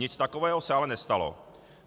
Nic takového se ale nestalo.